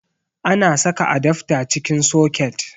Ana saka adafta cikin soket